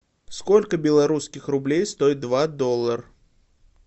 сколько белорусских рублей стоит два доллар